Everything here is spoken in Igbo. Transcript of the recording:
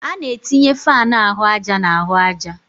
A na-etinye fáan ahụ àjà na ahụ àjà